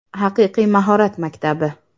Haqiqiy mahorat maktabi!